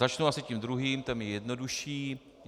Začnu asi tím druhým, ten je jednodušší.